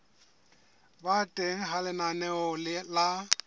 ba teng ha lenaneo la